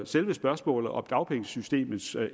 selve spørgsmålet om dagpengesystemets